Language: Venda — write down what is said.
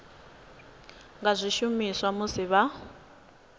nga zwi shumisa musi vha